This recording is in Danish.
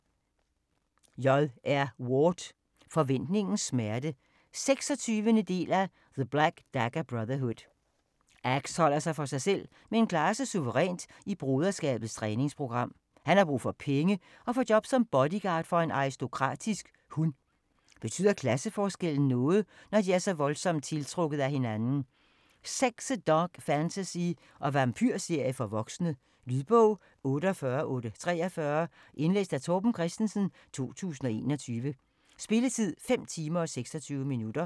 Ward, J. R.: Forventningens smerte 26. del af The black dagger brotherhood. Axe holder sig for sig selv, men klarer sig suverænt i Broderskabets træningsprogram. Han har brug for penge og får job som bodyguard for en aristokratisk hun. Betyder klasseforskellen noget, når de er voldsomt tiltrukket af hinanden? Sexet dark fantasy og vampyrserie for voksne. Lydbog 48843 Indlæst af Torben Christensen, 2021. Spilletid: 5 timer, 26 minutter.